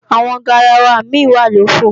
Àwọn garawa mi wà lòfo